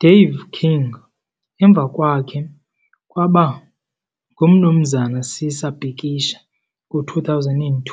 Dave King emva kwakhe kwaba nguMnumzana Sisa Bikisha ngo-2002,